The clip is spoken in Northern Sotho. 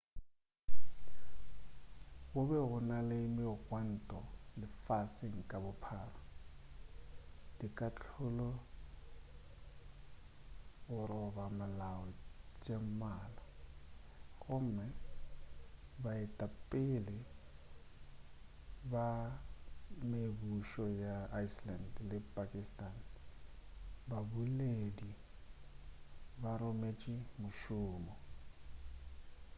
go be go na le megwanto lefaseng ka bophara dikahlolo tša go roba molao tše mmalwa gomme baetapele ba mebušo ya iceland le pakistan ka bobedi ba rotše mošomo